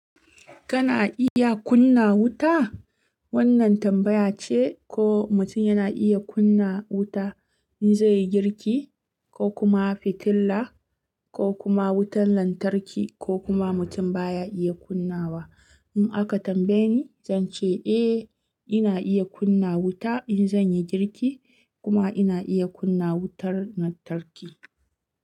Kana iya kunna wuta? Wannan tambaya ce ko mutum yana iya kunna wuta in zai yi girki ko kuma fitila ko kuma wutar lantarki ko kuma mutum baya iya kunnawa. In aka tambaye ni, zan ce eh ina iya kunna wuta in zan yi girki kuma ina iya kunna wutar lantarki.